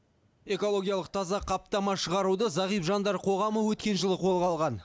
экологиялық таза қаптама шығаруды зағип жандар қоғамы өткен жылы қолға алған